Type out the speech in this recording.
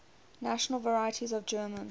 national varieties of german